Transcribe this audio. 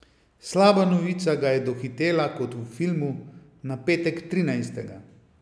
Slaba novica ga je dohitela kot v filmu, na petek trinajstega.